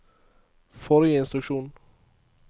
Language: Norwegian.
forrige instruksjon